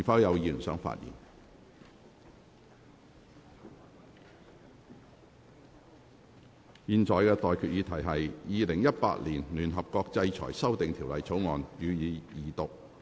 我現在向各位提出的待決議題是：《2018年聯合國制裁條例草案》，予以二讀。